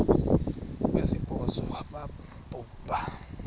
wesibhozo wabhu bha